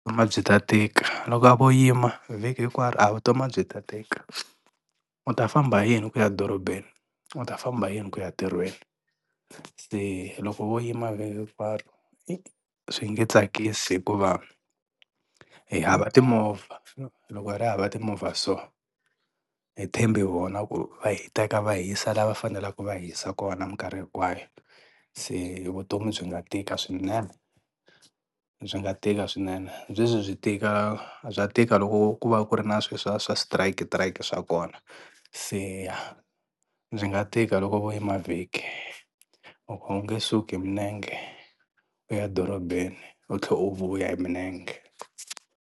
byi ta tika loko a vo yima vhiki hinkwaro a vutomi a byi ta tika, u ta famba hi yini ku ya dorobeni, u ta famba hi yini ku ya ntirhweni. Se loko vo yima hinkwaro i swi nge tsakisi hikuva hi hava timovha loko hi ri hava timovha so hi tshembe vona ku va hi teka va hi yisa la va faneleke va hi hisa kona minkarhi hinkwayo, se vutomi byi nga tika swinene, byi nga tika swinene byi tika bya tika loko ku va ku ri na swilo swa swa switirayiki switirayiki swa kona se byi nga tika loko vo yima vhiki loko a wu nge suki hi milenge u ya dorobeni u tlhela u vuya hi milenge.